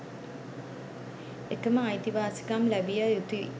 එකම අයිතිවාසිකම් ලැබිය යුතුයි.